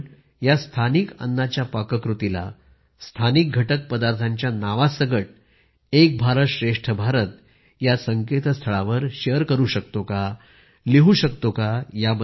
आपण या स्थानिक अन्नाच्या पाककृतीला स्थानिक घटक पदार्थांच्या नावासकट एक भारत श्रेष्ठ भारत या संस्थळावर शेअर करू शकतो का लिहू शकतो का